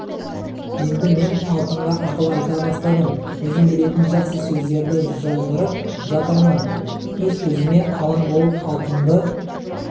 енді мен алтынға ақыл айта бастадым өзім білетін жақсы сөздерді жаудырып жатырмын өз-өзіме алаң болып алтынды